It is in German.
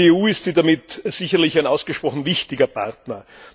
Für die EU ist sie damit sicherlich ein ausgesprochen wichtiger Partner.